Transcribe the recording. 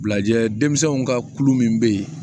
Bilajɛ denmisɛnw ka kulu min bɛ yen